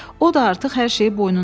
O da artıq hər şeyi boynuna alıb.